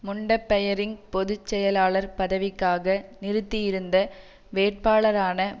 முண்டபெயரிங் பொது செயலாளர் பதவிக்காக நிறுத்தியிருந்த வேட்பாளரான